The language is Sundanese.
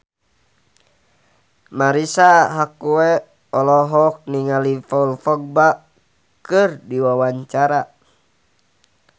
Marisa Haque olohok ningali Paul Dogba keur diwawancara